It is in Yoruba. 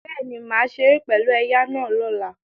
Bẹ́ẹ̀ni, màá ṣeré pẹ̀lú ẹ̀ya náà lọ́la